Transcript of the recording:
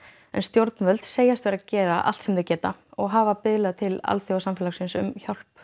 en stjórnvöld segjast vera að gera allt sem þau geta og hafa biðlað til alþjóðasamfélagsins um hjálp